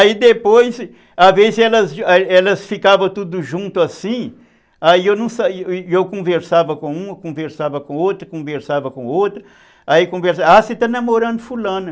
Aí depois, às vezes elas ficavam tudo junto assim, aí eu conversava com uma, conversava com outra, conversava com outra, aí conversava, ah, você está namorando fulana.